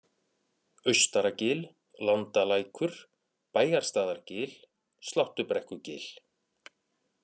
Austaragil, Landalækur, Bæjarstaðargil, Sláttubrekkugil